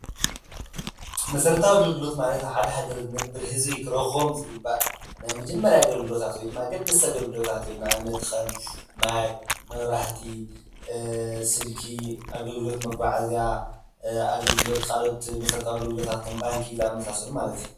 መሰረታዊ ኣገልግሎት ማለት ኣብ ሓደ ሃገር ዝነብር ህዝቢ ክረኽቦም ዝግባእ ናይ መጀመርያ ኣገልግሎታት ወይ ድማ ኣገደስቲ ግልጋሎታት እዮም፡፡ ንኣብነት ከም ማይ፣ መብራህቲ፣ ስልኪ፣ ኣገልግሎት መጐዓዓዝያ፣ ኣገልግሎት ኣካልኦት መሰረታዊ ኣገልግሎታት ከም ባንኪ ዝኣምሳሰሉ ማለት እዩ፡፡